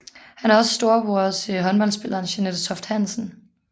Han er også storebror til håndboldspilleren Jeanette Toft Hansen